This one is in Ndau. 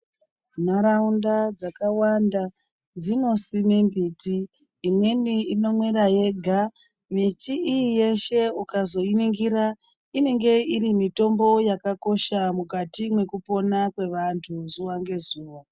Nharaunda dzakawanda dzinosimwe mbiti imweni inomera yega miti iyi yeshe ukazoiningira inenge iri mitombo yakakosha mukati mwekupona kwevanthu zuwa ngezuwa.